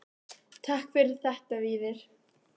Takk fyrir þetta Víðir.